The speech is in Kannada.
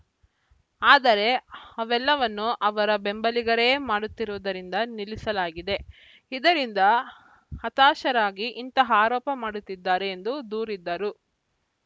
ಆದರೆ ಅವೆಲ್ಲವನ್ನು ಅವರ ಬೆಂಬಲಿಗರೇ ಮಾಡುತ್ತಿರುವುದರಿಂದ ನಿಲ್ಲಿಸಲಾಗಿದೆ ಇದರಿಂದ ಹತಾಶರಾಗಿ ಇಂತಹ ಆರೋಪ ಮಾಡುತ್ತಿದ್ದಾರೆ ಎಂದು ದೂರಿದರು